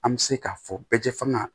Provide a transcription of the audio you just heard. An bɛ se k'a fɔ bɛɛ tɛ faga